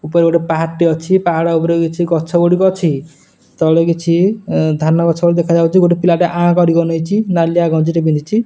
ଉପରେ ଗୋଟେ ପାହାଡ ଟେ ଅଛି ପାହାଡ ଉପରେ ରେ କିଛି ଗଛ ଗୁଡ଼ିକ ଅଛି ତଳେ କିଛି ଅଁ ଧାନ ଗଛ ଭଳି ଦେଖା ଯାଉଚି ଗୋଟେ ପିଲା ଟେ ଆଁ କରିକି ଅନେଇଚି ନାଲିଆ ଗଞ୍ଜୀ ଟେ ପିନ୍ଧିଛି।